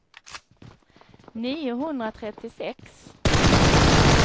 niohundratrettiosex